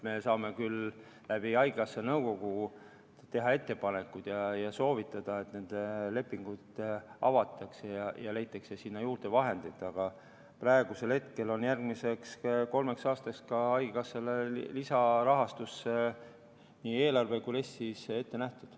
Me saame küll läbi haigekassa nõukogu teha ettepanekuid ja soovitada, et need lepingud avatakse ja leitakse sinna vahendeid juurde, aga praegusel hetkel on haigekassale järgmiseks kolmeks aastaks lisarahastus ette nähtud nii eelarves kui RES-is.